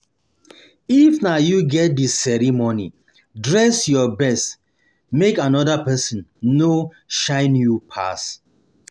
um If na you get di ceremony dress your best um make another persin no shine pass you